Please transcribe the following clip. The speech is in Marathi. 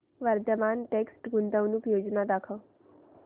वर्धमान टेक्स्ट गुंतवणूक योजना दाखव